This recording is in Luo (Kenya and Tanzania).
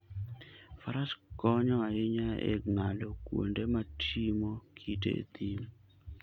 Faras konyo ahinya e ng'ado kuonde motimo kite e thim.